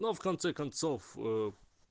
но в конце концов